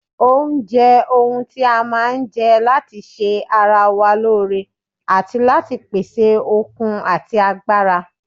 Oúnjẹ ohun tí a máa ń jẹ́ láti ṣe ara wa lóore àti láti pèsè okun ati agbára